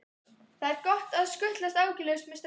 Það er svo gott að skutlast áhyggjulaus með strætó.